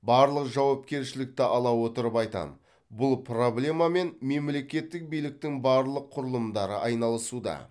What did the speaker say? барлық жауапкершілікті ала отырып айтамын бұл проблемамен мемлекеттік биліктің барлық құрылымдары айналысуда